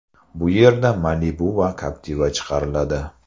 Bu yerda Malibu va Captiva chiqariladi.